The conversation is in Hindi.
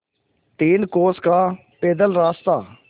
तीन कोस का पैदल रास्ता